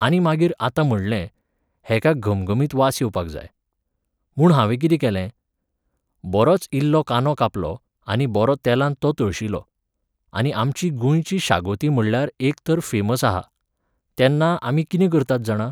आनी मागीर आतां म्हणलें, हेका घमघमीत वास येवपाक जाय. म्हूण हांवें कितें केलें? बरोच इल्लो कांदो कापलो आनी बरो तेलांत तो तळशिलो. आनी आमची गोंयची शागोती म्हणल्यार तर एक फेमस आहा. तेन्ना आमी कितें करतात जाणा?